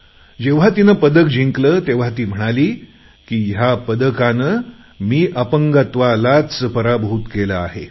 जेव्हा तिने पदक जिकले तेव्हा ती म्हणाली की ह्या पदकाने मी अपंगत्वालाच पराभूत केले आहे